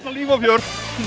líf og fjör